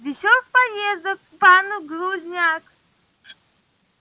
весёлых поездок пан глузняк